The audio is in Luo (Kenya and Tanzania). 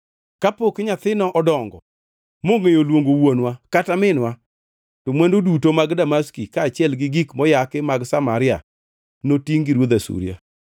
Kapok nyathino odongo mongʼeyo luongo ‘wuonwa’ kata ‘minwa,’ to mwandu duto mag Damaski kaachiel gi gik moyaki mag Samaria notingʼ gi ruodh Asuria.”